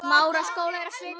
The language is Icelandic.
Ég leit niður.